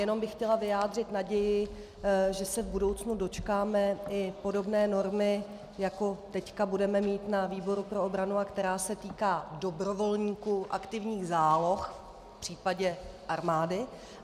Jenom bych chtěla vyjádřit naději, že se v budoucnu dočkáme i podobné normy, jako teď budeme mít ve výboru pro obranu a která se týká dobrovolníků aktivních záloh v případě armády.